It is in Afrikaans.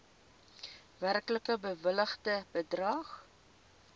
werklik bewilligde bedrag